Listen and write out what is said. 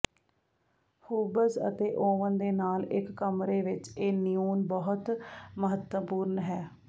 hobs ਅਤੇ oven ਦੇ ਨਾਲ ਇਕ ਕਮਰੇ ਵਿਚ ਇਹ ਨਿਓਨ ਬਹੁਤ ਮਹੱਤਵਪੂਰਣ ਹੈ